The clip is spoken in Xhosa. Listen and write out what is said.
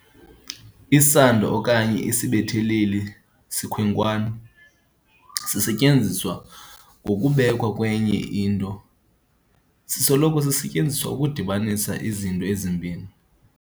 Isando okanye isibetheleli sikhonkwane sisetyenziswa ngokubekwa kwenye into. sisoloko sisetyenziswa ukudibanisa izinto ezimbini.